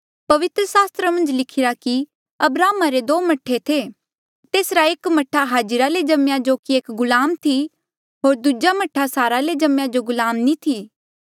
पवित्र सास्त्रा मन्झ लिखिरा कि अब्राहमा रे दो मह्ठे थे तेसरा एक मह्ठा हाजिरा ले जम्मेया जो एक गुलाम थी होर दूजा मह्ठा सारा ले जम्मेया जो गुलाम नी थी